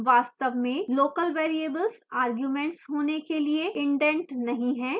वास्तव में local variables arguments होने के लिए इंटेंड नहीं हैं